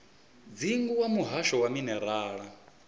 dzingu wa muhasho wa minerala